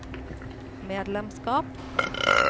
medlemskap